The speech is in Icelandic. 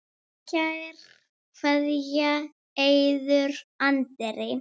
Kær kveðja, Eiður Andri.